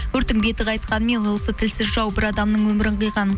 өрттің беті қайтқанымен тілсіз жау бір адамның өмірін қиған